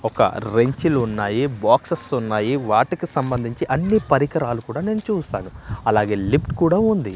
ఒక రెంచులు ఉన్నాయి బాక్సస్ ఉన్నాయి వాటికి సంబంధించి అన్ని పరికరాలు కూడా నేను చూసాను అలాగే లిఫ్ట్ కూడా ఉంది.